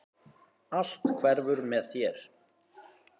Allt hverfur með þér.